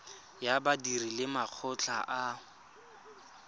ya badiri le makgotla a